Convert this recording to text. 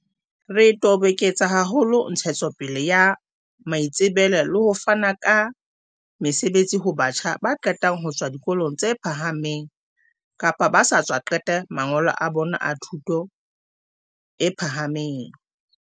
"Re toboketsa haholo ntshetsopele ya maitsebelo le ho fana ka mesebetsi ho batjha ba qetang ho tswa dikolong tse phahameng kapa ba sa tswa qeta mangolo a bona a thuto e pha hameng."